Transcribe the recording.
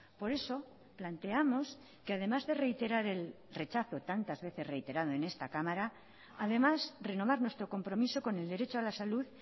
por eso planteamos que además de reiterar el rechazo tantas veces reiterado en esta cámara además renovar nuestro compromiso con el derecho a la salud